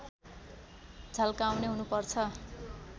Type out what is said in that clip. झल्काउने हुनुपर्छ